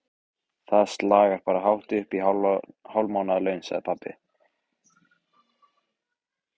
Það slagar bara hátt uppí hálf mánaðarlaun, sagði pabbi.